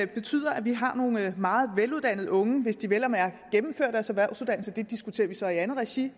betyder at vi har nogle meget veluddannede unge hvis de vel at mærke gennemfører deres erhvervsuddannelse det diskuterer vi så i andet regi